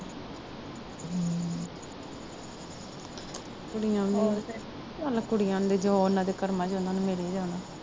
ਕੁੜੀਆਂ ਦੇ ਚੱਲ ਕੁੜੀਆਂ ਦੇ ਉਹਨਾਂ ਦੇ ਕਰਮਾਂ ਚ ਉਹਨਾਂ ਨੂੰ ਮਿਲ ਈ ਜਾਣਾ